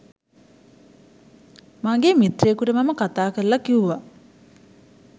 මගේ මිත්‍රයෙකුට මම කතාකරලා කිව්වා